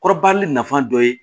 Kɔrɔbali nafa dɔ ye